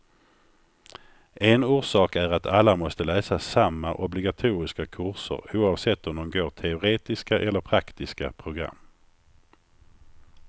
En orsak är att alla måste läsa samma obligatoriska kurser, oavsett om de går teoretiska eller praktiska program.